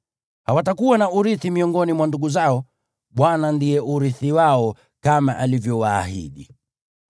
Hawatakuwa na urithi miongoni mwa ndugu zao; Bwana ndiye urithi wao, kama alivyowaahidi.